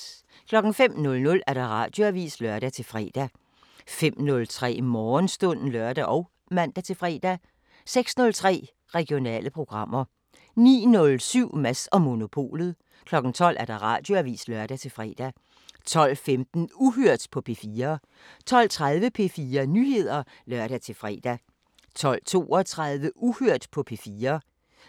05:00: Radioavisen (lør-fre) 05:03: Morgenstund (lør og man-fre) 06:03: Regionale programmer 09:07: Mads & Monopolet 12:00: Radioavisen (lør-fre) 12:15: Uhørt på P4 12:30: P4 Nyheder (lør-fre) 12:32: Uhørt på P4